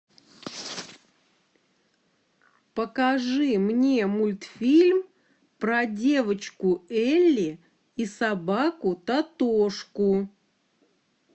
покажи мне мультфильм про девочку элли и собаку тотошку